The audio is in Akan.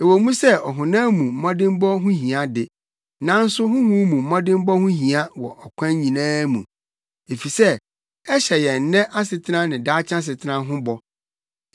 Ɛwɔ mu sɛ ɔhonam mu mmɔdemmɔ ho hia de, nanso honhom mu mmɔdemmɔ ho hia wɔ akwan nyinaa mu, efisɛ ɛhyɛ yɛn nnɛ asetena ne daakye asetena ho bɔ.